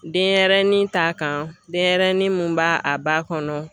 Denɲɛrɛnin ta kan denɲɛrɛnin mun b'a a ba kɔnɔ.